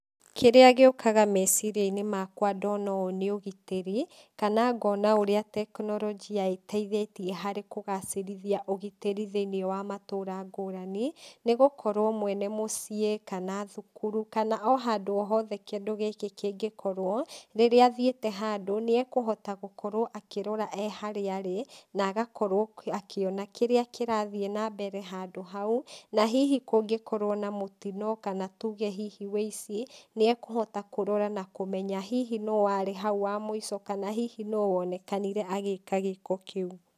Kĩrĩa gĩũkaga meciriainĩ makwa ndona ũũ nĩ ũgitĩrĩ, kana ngona ũrĩa tekinorojia ĩteithĩtie harĩ kũgacirithia ũgitĩri thinĩ wa matũra ngũrani, nĩgũkorwo mwene mũciĩ kana thukuru kana o handũ hothe kindũ gĩkĩ kĩngĩkorwo, rĩrĩa athiĩte handũ nĩakũhota gũkorwo akĩrora e harĩa arĩ, na agakorwo akiona kĩrĩa kĩrathiĩ nambere handũ hau, na hihi kũngĩkorwo na mũtino kana tuge hihi wĩici, nĩakũhota kũrora na kũmenya hihi no warĩ hau wa mũico, kana hihi nũ wonekanire agĩka gĩko ta kĩũ.